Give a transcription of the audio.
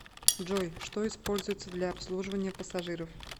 джой что используется для обслуживания пассажиров